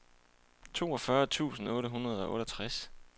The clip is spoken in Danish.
toogfyrre tusind otte hundrede og otteogtres